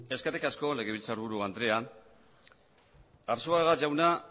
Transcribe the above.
eskerrik asko legebiltzarburu andrea arzuaga jauna